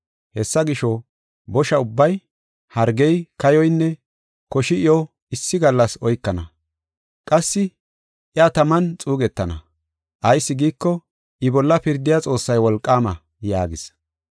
Hessa gisho, bosha ubbay, hargey, kayoynne koshi iyo issi gallas oykana. Qassi iya taman xuugetana; ayis giiko, I bolla pirdiya Xoossay wolqaama” yaagis.